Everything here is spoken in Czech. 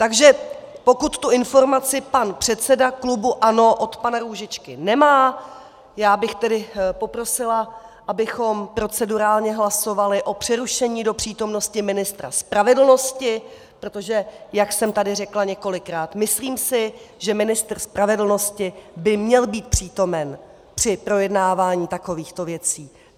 Takže pokud tu informaci pan předseda klubu ANO od pana Růžičky nemá, já bych tedy poprosila, abychom procedurálně hlasovali o přerušení do přítomnosti ministra spravedlnosti, protože jak jsem tady řekla několikrát, myslím si, že ministr spravedlnosti by měl být přítomen při projednávání takovýchto věcí.